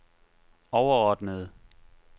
overordnede